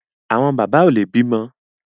Àwọn bàbá ò lè bímọ